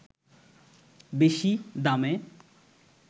বেশি দামে